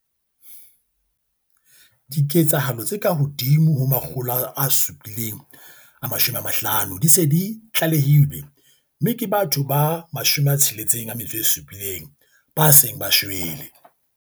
Diketsahalo tse kahodimo ho 750 di se di tlalehilwe mme ke batho ba 67 ba seng ba shwele.